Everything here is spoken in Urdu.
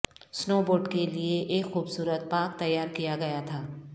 سنوبورڈ کے لئے ایک خوبصورت پارک تیار کیا گیا تھا